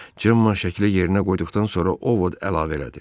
Cemma şəkli yerinə qoyduqdan sonra Ovod əlavə elədi.